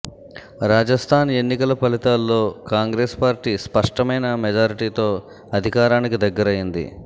రాజస్థాన్ ఎన్నికల ఫలితాల్లో కాంగ్రెస్ పార్టీ స్పష్టమైన మెజారిటీతో అధికారానికి దగ్గరైంది